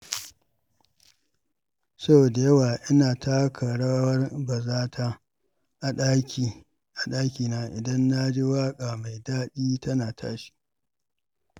Sau da yawa ina taka rawar bazata a ɗakina idan na ji waƙa mai daɗi tana tashi.